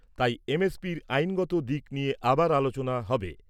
তাই এমএফইর আইনগত দিক নিয়ে আবার আলোচনা হবে।